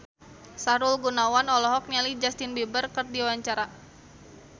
Sahrul Gunawan olohok ningali Justin Beiber keur diwawancara